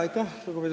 Lugupeetud spiiker!